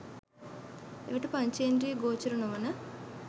එවිට පංචෙඳ්‍රියගෝචර නොවන